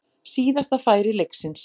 Síðasta færi leiksins.